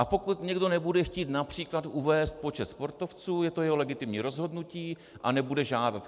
A pokud někdo nebude chtít například uvést počet sportovců, je to jeho legitimní rozhodnutí a nebude žádat.